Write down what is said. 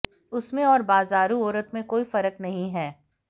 उसमें और बाजारू औरत में कोई फर्क नहीं है